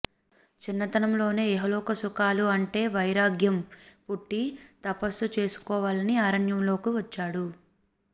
చిన్నతనంలోనే ఇహలోక సుఖాలు అంటే వైరాగ్యం పుట్టి తపస్సు చేసుకోవాలని అరణ్యంలోకి వచ్చాడు